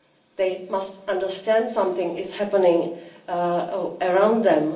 They must understand that something is happening around them.